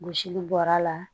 Gosili bɔra la